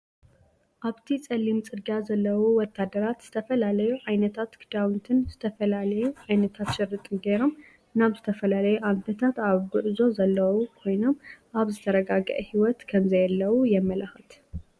ኣብቲ ፀሊም ፅርግያ ዘለዉ ወታደራት ዝተፈላለዩ ዓይነታት ክዳውንትን ዝተፈላለዩ ዓይነታት ሽርጥን ገይሮም ናብ ዝተፈላለዩ ኣንፈታት ኣብ ጉዕዞ ዘለዉ ኮይኖም ኣብ ዘተረጋገአ ሂይወት ከምዘየለዉ የመላክት፡፡